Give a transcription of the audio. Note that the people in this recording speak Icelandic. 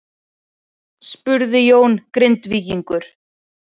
spurði Jón Grindvíkingur.